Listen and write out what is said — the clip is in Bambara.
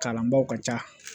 Kalanbaaw ka ca